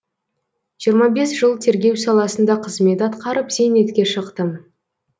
жиырма бес жыл тергеу саласында қызмет атқарып зейнетке шықтым